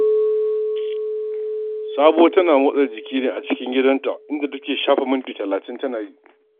Sabuwa tana motsa jikinta ne a tsakar gidanta, inda take shafe minti talatin tana yi.